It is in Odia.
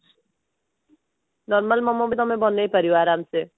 normal ମୋମୋ ବି ତମେ ବନେଇ ପାରିବ ଆରାମସେ